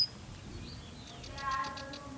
આજ બધું